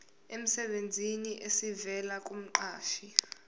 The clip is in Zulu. emsebenzini esivela kumqashi